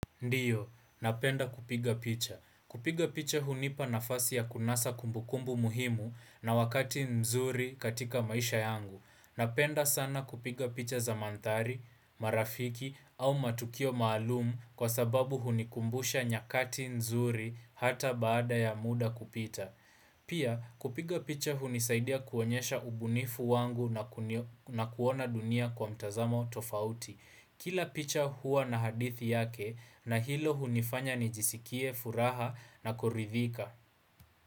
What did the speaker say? Ndiyo, napenda kupiga picha. Kupiga picha hunipa nafasi ya kunasa kumbukumbu muhimu na wakati mzuri katika maisha yangu. Napenda sana kupiga picha za mandhari, marafiki au matukio maalum kwa sababu hunikumbusha nyakati nzuri hata baada ya muda kupita. Pia, kupiga picha hunisaidia kuonyesha ubunifu wangu na kunio na kuona dunia kwa mtazamo tofauti. Kila picha huwa na hadithi yake na hilo hunifanya nijisikie, furaha na kuridhika.